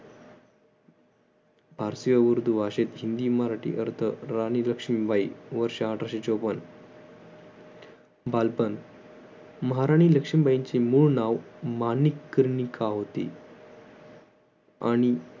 उर्दू भाषेत हिंदी मराठी अर्थ राणी लक्ष्मीबाई वर्ष अठराशे चोपन्न बालपण महाराणी लक्ष्मी बाईंचे मूळ नाव माणिकर्णिका होते आणि